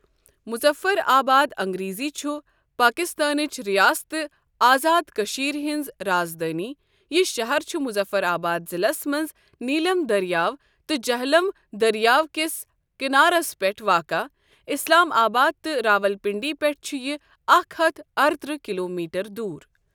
مظفر آباد انگریزی چھُ پٲکِستانؠچ ریاستہٕ آزاد کٔشیٖر ہَنٛز رازدٲنؠ یہِ شَہَر چھُ مظفر آباد ضِلَس مَنٛز نیٖلم دریاو تہٕ جہلم دریاو کِس کنارَس پؠٹھ واقع اِسلام آباد تہٕ راولپنڈی پؠٹھ چھُ یہِ اکھ ہتھ ارترٛہ کلومیٖٹر دوٗر۔